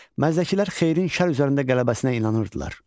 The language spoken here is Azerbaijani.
Məzdəkilər xeyrin şər üzərində qələbəsinə inanırdılar.